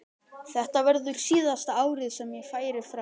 Þetta verður síðasta árið sem ég færi frá.